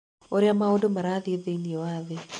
ũrĩa maũndũ marathiĩ thĩinĩ wa thĩ